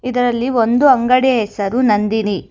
ಇದರಲ್ಲಿ ಒಂದು ಅಂಗಡಿಯ ಹೆಸರು ನಂದಿನಿ.